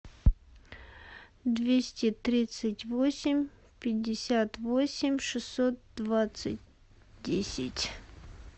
двести тридцать восемь пятьдесят восемь шестьсот двадцать десять